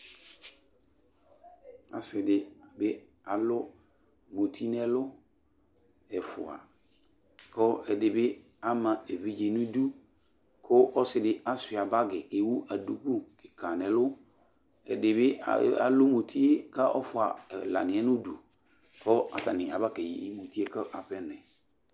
Asi di bi alu muti n'ɛlu, ɛfua, ku ɛdi bi ama evidze n'idu ku ɔsi di aʃua bagi ewu duku kika n'ɛlu Ɛdi bi alu mutie kɔ ɔfua ɛla niɛ nu du kɔ atani aba keyi mutie k'aƒenɔɛ